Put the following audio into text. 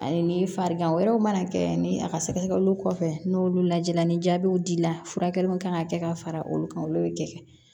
Ani farigan wɛrɛw mana kɛ ani a ka sɛgɛsɛgɛliw kɔfɛ n'olu lajɛ la ni jaabiw dir'i la furakɛli min kan ka kɛ ka fara olu kan olu bɛ kɛ